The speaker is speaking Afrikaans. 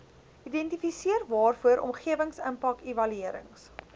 identifiseer waarvoor omgewingsimpakevaluerings